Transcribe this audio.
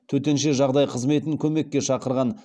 төтенше жағдай қызметін көмекке шақырған